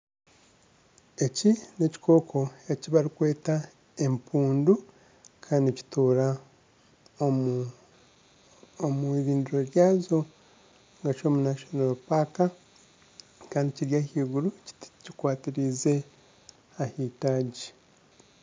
Eki n'ekikooko eki barikweta empundu kandi nikituura omu iridiro ryazo kandi kiri ahaiguru kikwatiriize ahaitaagi